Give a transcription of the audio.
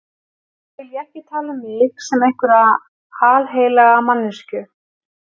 Nú vil ég ekki tala um mig sem einhverja alheilaga manneskju.